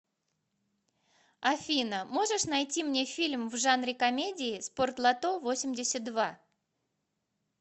афина можешь найти мне фильм в жанре комедии спортлото весемьдесят два